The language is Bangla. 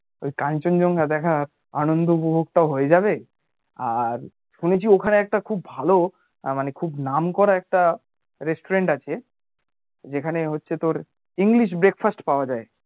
ওই কাঞ্চনজংঘা দেখার আনন্দ উপভোগ টাও হয়ে যাবে আর শুনেছি ওখানে একটা খুব ভালো মানে খুব নাম করা একটা restaurant আছে যেখানে হচ্ছে তোর english breakfast পাওয়া যাই